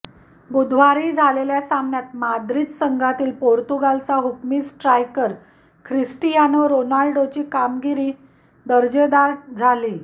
बुधवारी झालेल्या सामन्यात माद्रीद संघातील पोर्तुगालचा हुकमी स्ट्रायकर ख्रिस्टीयानो रोनाल्डोची कामगिरी दर्जादार झाली